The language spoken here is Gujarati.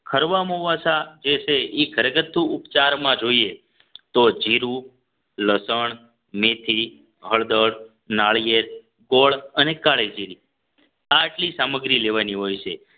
ખરવા મોવાસા જે છે એ ઘરગથ્થું ઉપચારમાં જોઈએ તો જીરું લસણ મેથી હળદર નાળિયેર ગોળ અને કાળીજીરી આટલી સામગ્રી લેવાની હોય છે